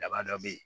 Daba dɔ bɛ ye